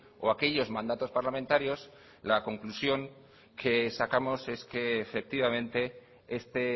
o aquellos mandatos parlamentarios la conclusión que sacamos es que efectivamente este